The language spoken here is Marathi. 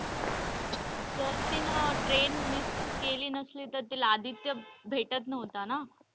जर तिने train miss केली नसली तर तिला आदित्य भेटत नव्हता ना.